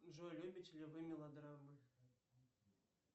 джой любите ли вы мелодрамы